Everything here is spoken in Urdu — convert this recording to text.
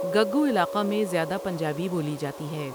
گگّو علاقہ میں زیاده پنجابی بو لی جاتی ہے ۔